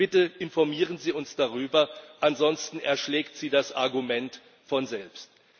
Bitte informieren Sie uns darüber, ansonsten erschlägt Sie das Argument von selbst.